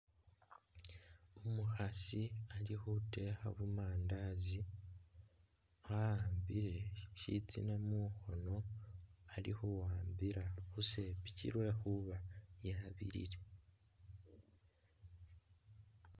Umukhaasi ali khutekha bu mandazi ,a'ambile shitsina mukhono ali khuwambila khusepiki lwekhuba yabilile